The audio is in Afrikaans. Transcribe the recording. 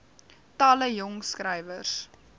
talle jong skrywers